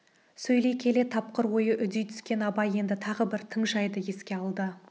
сөйлей келе тапқыр ойы үдей түскен абай енді тағы бір тың жайды еске алды